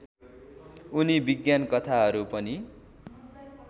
उनी विज्ञानकथाहरू पनि